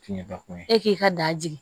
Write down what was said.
Tiɲɛba ko ye e k'i ka da jigin